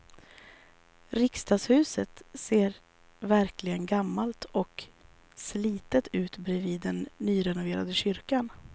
Riksdagshuset ser verkligen gammalt och slitet ut bredvid den nyrenoverade kyrkan.